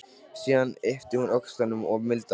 Síðan ypptir hún öxlum og mildast.